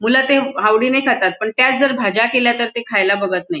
मुलं ते आवडीने खातात पण त्याच जर भाज्या केल्या तर ते खायला बघत नाही.